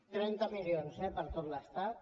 trenta milions eh per tot l’estat